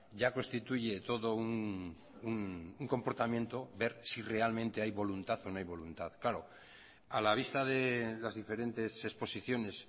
ya constituye todo un comportamiento ver si realmente hay voluntad o no hay voluntad claro a la vista de las diferentes exposiciones